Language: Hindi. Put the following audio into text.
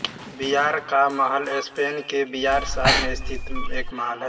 बिआर का महल स्पेन के बिआर शहर में स्थित एक महल है